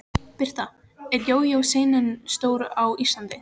Birta: Er jójó senan stór á Íslandi?